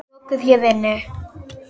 Lokuðu hér inni.